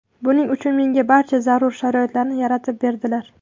Buning uchun menga barcha zarur sharoitlarni yaratib berdilar.